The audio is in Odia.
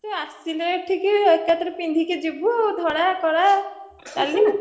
ତୁ ଆସିଲେ ଏଠିକି ଏକାଥରେ ପିନ୍ଧିକି ଯିବୁ ଧଳା, କଳା ନାଲି